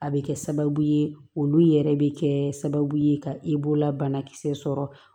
A bɛ kɛ sababu ye olu yɛrɛ bɛ kɛ sababu ye ka la banakisɛ sɔrɔ